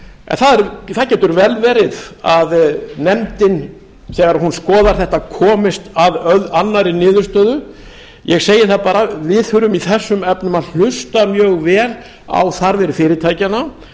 í framkvæmd það getur vel verið að nefndin þegar hún skoðar þetta komist að annarri niðurstöðu ég segi það bara að við þurfum í þessum efnum að hlusta mjög vel á þarfir fyrirtækjanna